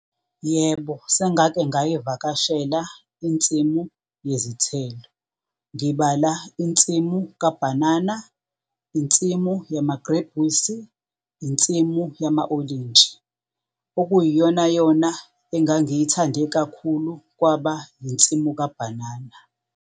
Yebo, sengake ngayivakashela insimu yezithelo. Ngibala insimu kabhanana, insimu yamagrebhisi, insimu yama-olintshi. Okuyiyonayona engangiyithande kakhulu kwaba yinsimu kabhanana.